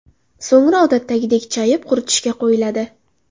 So‘ngra odatdagidek chayib, quritishga qo‘yiladi.